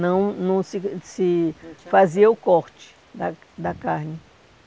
Não não se se fazia o corte da da carne.